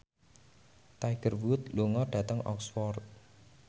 Tiger Wood lunga dhateng Oxford